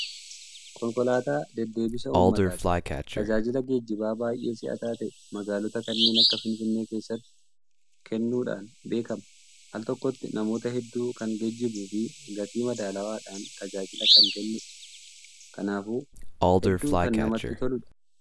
Konkolaataa deddeebisa uummataati. Tajaalila geejjibaa baay'ee si'ataa ta'e magaalota kanneen akka Finfinnee keessatti kannuudhaan beekama. Al tokkotti namoota hedduu kan geejjibuu fi gatii madaalawaadhaan tajaajila kan kennudha. Kanaafuu hedduu kan namatti toludha.